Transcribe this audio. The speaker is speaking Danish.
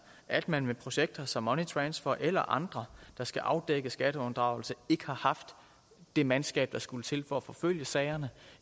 at man med projekter som money transfer eller andre der skal afdække skatteunddragelse ikke har haft det mandskab der skulle til for at forfølge sagerne